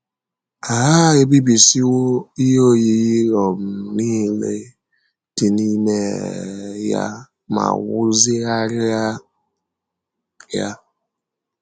Ha ebibisiwo ihe oyiyi um nile um dị n’ime um ya ma wuzigharịa ya.